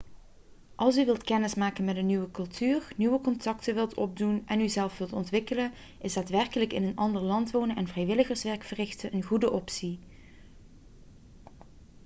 als u wilt kennismaken met een nieuwe cultuur nieuwe contacten wilt opdoen en uzelf wilt ontwikkelen is daadwerkelijk in een ander land wonen en vrijwilligerswerk verrichten een goede optie